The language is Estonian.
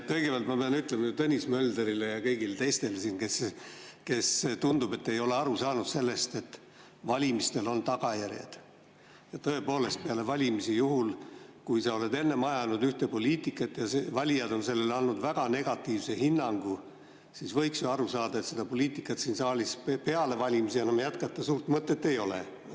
Kõigepealt ma pean ütlema Tõnis Mölderile ja kõigile teistele siin, kes, nagu tundub, ei ole aru saanud sellest, et valimistel on tagajärjed: tõepoolest, peale valimisi, juhul kui sa oled enne ajanud ühte poliitikat ja valijad on andnud sellele väga negatiivse hinnangu, siis võiks ju aru saada, et seda poliitikat siin saalis peale valimisi enam jätkata suurt mõtet ei ole.